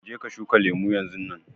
Je ka shuka lemun yanzunnan.